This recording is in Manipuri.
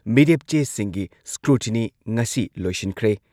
ꯃꯤꯔꯦꯞ ꯆꯦꯁꯤꯡꯒꯤ ꯁ꯭ꯀ꯭ꯔꯨꯇꯤꯅꯤ ꯉꯁꯤ ꯂꯣꯏꯁꯤꯟꯈ꯭ꯔꯦ꯫